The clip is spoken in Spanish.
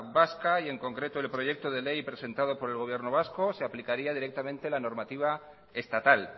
vasca y en concreto el proyecto de ley presentado por el gobierno vasco se aplicaría directamente la normativa estatal